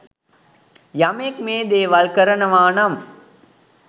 යමෙක් මේ දේවල් කරනවා නම්